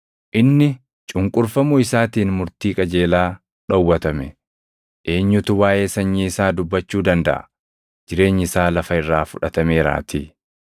Inni cunqurfamuu isaatiin murtii qajeelaa dhowwatame; eenyutu waaʼee sanyii isaa dubbachuu dandaʼa? Jireenyi isaa lafa irraa fudhatameeraatii.” + 8:33 \+xt Isa 53:7,8\+xt*